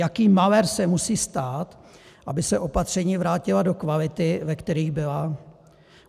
Jaký malér se musí stát, aby se opatření vrátila do kvality, ve které byla?